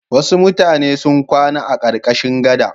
Wasu mutane sun kwana a ƙarƙashin gada.